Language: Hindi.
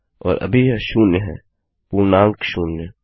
और अभी यह शून्य है पूर्णांक शून्य